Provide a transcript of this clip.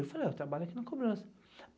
Eu falei, eu trabalho aqui na cobrança.